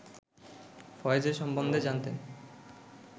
ফয়েজের সম্বন্ধে জানতেন